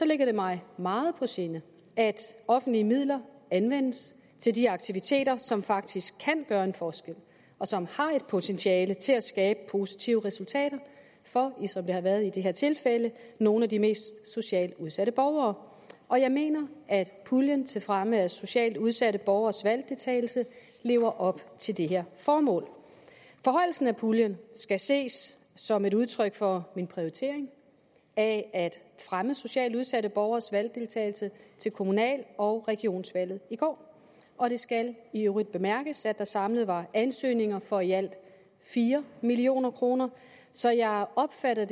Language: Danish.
ligger det mig meget på sinde at offentlige midler anvendes til de aktiviteter som faktisk kan gøre en forskel og som har et potentiale til at skabe positive resultater for som det har været i det her tilfælde nogle af de mest socialt udsatte borgere og jeg mener at puljen til fremme af socialt udsatte borgeres valgdeltagelse lever op til det her formål forhøjelsen af puljen skal ses som et udtryk for min prioritering af at fremme socialt udsatte borgeres valgdeltagelse til kommunal og regionsvalget i går og det skal i øvrigt bemærkes at der samlet var ansøgninger for i alt fire million kroner så jeg opfatter